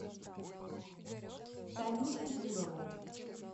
танюшу бурову